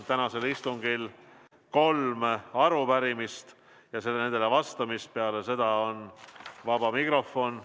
Tänasel istungil on kolm arupärimist ja nendele vastamine, peale seda on vaba mikrofon.